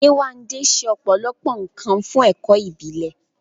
Yewande ṣe ọ̀pọ̀lọpọ̀ nkan fún ẹ̀kọ́ ìbílẹ̀.